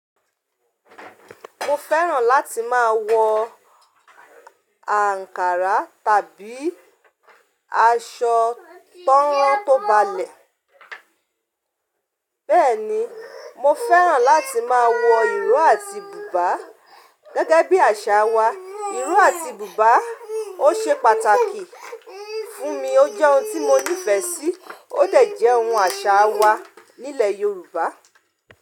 Mo fẹ́ràn láti máa wọ àǹkárá tàbí aṣọ tan rán tó balẹ̀. Bẹ́ẹ̀ ni, mo fẹ́ràn láti máa wọ ìró àti bùbá. Gẹ́gẹ́ bí àṣà wa, ìró àti bùbá ó ṣe pàtàkì fún mi. Ó jẹ́ ohun tí mo nífẹ̀ẹ́ sí, ó dẹ̀ jẹ́ ohun àṣà wa nílẹ̀ Yorùbá.